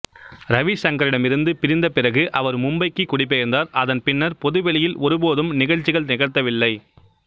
ரவி சங்கரிடமிருந்து பிரிந்த பிறகு அவர் மும்பைக்கு குடிபெயர்ந்தார் அதன் பின்னர் பொதுவெளியில் ஒருபோதும் நிகழ்ச்சிகள் நிகழ்த்தவில்லை